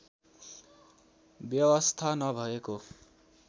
व्यवस्था नभएको